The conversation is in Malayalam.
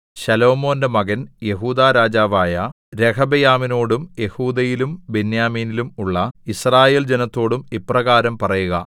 ശലോമോന്റെ മകൻ യെഹൂദാ രാജാവായ രെഹബെയാമിനോടും യെഹൂദയിലും ബെന്യാമീനിലും ഉള്ള യിസ്രായേൽജനത്തോടും ഇപ്രകാരം പറയുക